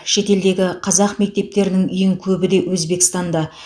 шетелдегі қазақ мектептерінің ең көбі де өзбекстанда